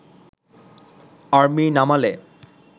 army নামালে